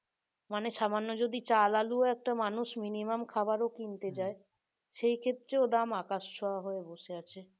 মানে যদি সামান্য যদি চাল আলুও একটা মানুষ মিনিমাম খাবারও কিনতে সেই ক্ষেত্রে ও দাম আকাশ ছোঁয়া হয়ে বসে আছে